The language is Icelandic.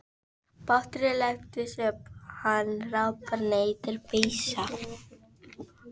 Báturinn lyftist upp, hann hrapar niður, peysa